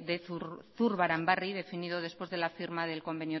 de zurbaranbarri definido después de la firma del convenio